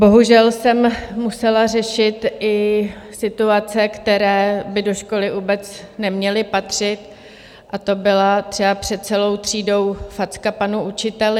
Bohužel jsem musela řešit i situace, které by do školy vůbec neměly patřit, a to byla třeba před celou třídou facka panu učiteli.